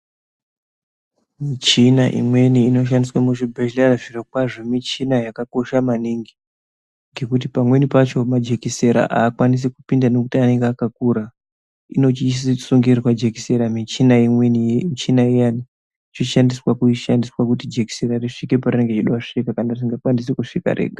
Muchina imweni ino shandiswa muzvi bhedhleya zvirokwazvo michina yakakosha maningi ngekuti pamweni pacho majekisera akwanisi kupinda ngekuti anenge akakura inochiiswa sungisirwa jekisera michina imweni michina iyani yochi shandiswa kuti jekiseni riya risvike parinenge richida kusvika parisinga kwanisi kuzvika rega